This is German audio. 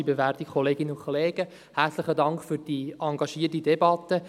Herzlichen Dank für diese engagierte Debatte.